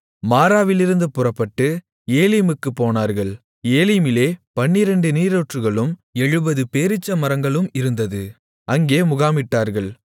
மாராவிலிருந்து புறப்பட்டு ஏலிமுக்குப் போனார்கள் ஏலிமிலே பன்னிரண்டு நீரூற்றுகளும் எழுபது பேரீச்சமரங்களும் இருந்தது அங்கே முகாமிட்டார்கள்